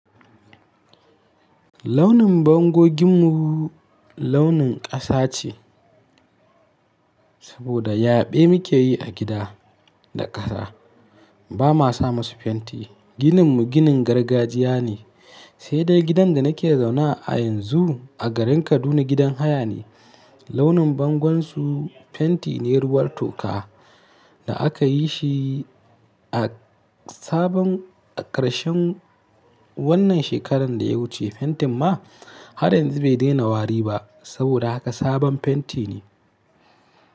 Launin bangoginmu launin ƙasa ce, saboda yaɓe muke yi a gida da ƙasa. Ba ma sa masu fenti. Gininmu ginin gargajiya ne, sai dai gidan da nake zauna a yanzu a garin Kaduna gidan haya ne. Launin bangon su fenti ne ruwar toka da aka yi shi a sabon a ƙarshen wannan shekarar da ya wuce. Fentin ma har yanzu bai daina wari ba saboda haka sabon fenti ne.